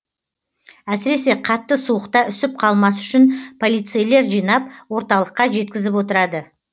әсіресе қатты суықта үсіп қалмас үшін полицейлер жинап орталыққа жеткізіп отырады